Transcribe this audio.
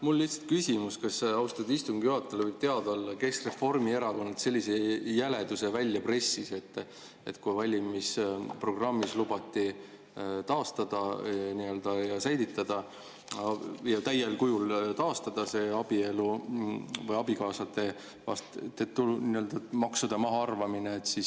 Mul on lihtsalt küsimus, kas austatud istungi juhatajale võib teada olla, kes Reformierakonnast sellise jäleduse välja pressis, et kui valimisprogrammis lubati säilitada ja täiel kujul taastada see abikaasade maksude mahaarvamine, siis …